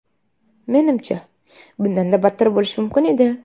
Menimcha, bundanda battar bo‘lishi mumkin edi.